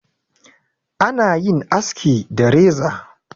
ana yin aski da reza